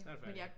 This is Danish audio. Snart færdig